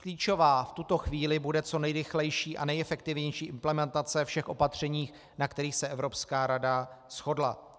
Klíčová v tuto chvíli bude co nejrychlejší a nejefektivnější implementace všech opatření, na kterých se Evropská rada shodla.